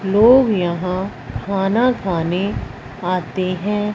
लोग यहां खाना खाने आते हैं।